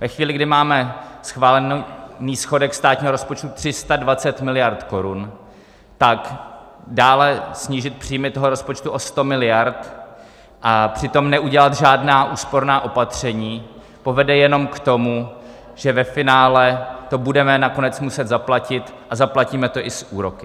Ve chvíli, kdy máme schválený schodek státního rozpočtu 320 miliard korun, tak dále snížit příjmy toho rozpočtu o 100 miliard a přitom neudělat žádná úsporná opatření povede jenom k tomu, že ve finále to budeme nakonec muset zaplatit, a zaplatíme to i s úroky.